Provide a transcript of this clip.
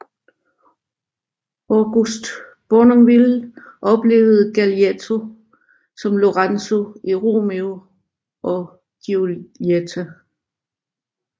August Bournonville oplevede Galeotti som Lorenzo i Romeo og Giulietta